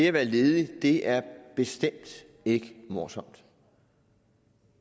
at være ledig er bestemt ikke morsomt